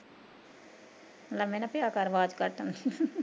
ਲਮੇ ਨਾ ਪਿਆ ਕਰ ਆਵਾਜ਼ ਘੱਟ ਆਉਂਦੀ